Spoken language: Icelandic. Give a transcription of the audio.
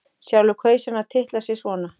Sjálfur kaus hann að titla sig svona: